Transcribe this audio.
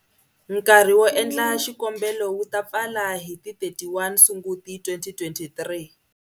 Nkarhi wo endla xikombelo wu ta pfala hi ti31 Sunguti 2023.